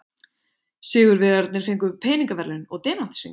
Sigurvegararnir fengu peningaverðlaun og demantshring